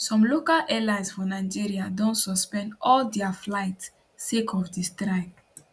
some local airlines for nigeria don suspend all dia flights sake of di strike